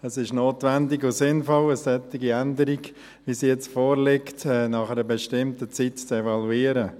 Es ist notwendig und sinnvoll, eine solche Änderung, wie sie jetzt vorliegt, nach einer bestimmten Zeit zu evaluieren.